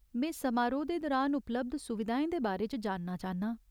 में समारोह् दे दरान उपलब्ध सुविधाएं दे बारे च जानना चाह्न्नां।